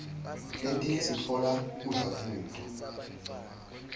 letinye sitfola kudla kuto